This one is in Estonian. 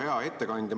Hea ettekandja!